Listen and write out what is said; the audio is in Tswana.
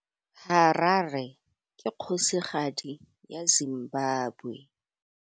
Harare ke kgosigadi ya Zimbabwe.